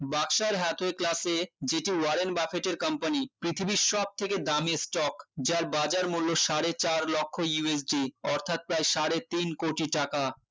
বাসার class এ যেটি warren buffet এর company পৃথিবীর সবথেকে দামি stock যার বাজার মূল্য সাড়ে চার লক্ষ্য USG অর্থাৎ প্রায় সাড়ে তিন কোটি টাকা